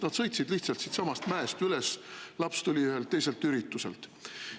Nad sõitsid lihtsalt siitsamast mäest üles, laps tuli ühelt teiselt ürituselt.